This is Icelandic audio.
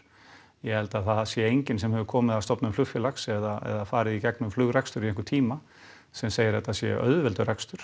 ég held að það sé enginn sem hefur komið að stofnun flugfélags eða farið í gegnum flugrekstur í einhvern tíma sem segir að þetta sé auðveldur rekstur